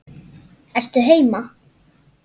Ertu heima?